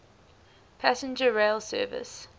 passenger rail service